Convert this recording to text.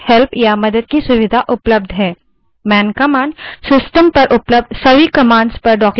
सच में आपको इसकी ज़रूरत नहीं क्योंकि लिनक्स में उत्कृष्ट online help या मदद की सुविधा उपलब्ध है